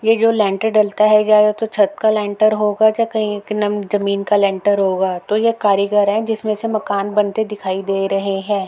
ये जो लैंटर डलता है या तो छत का लैंटर होगा या कई नम जमीन का लैंटर होगा तो ये कारीगर है जिसमें से मकान बनते दिखाई दे रहे हैं।